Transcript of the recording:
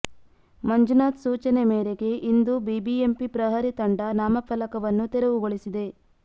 ಮಂಜುನಾಥ್ ಸೂಚನೆ ಮೇರೆಗೆ ಇಂದು ಬಿಬಿಎಂಪಿ ಪ್ರಹರಿ ತಂಡ ನಾಮಫಲಕವನ್ನು ತೆರವುಗೊಳಿಸಿದೆ